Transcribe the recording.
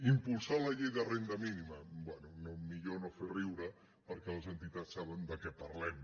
impulsar la llei de renda mínima bé millor no fer riure perquè les entitats saben de què parlem